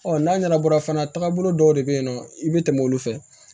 n'a ɲɛnabɔra fana taagabolo dɔw de bɛ yen nɔ i bɛ tɛmɛ olu fɛ